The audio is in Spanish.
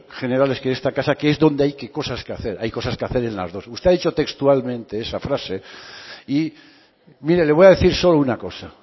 generales que en esta casa que es donde hay cosas que hacer hay cosas que hacer en las dos usted ha dicho textualmente esa frase y mire le voy a decir solo una cosa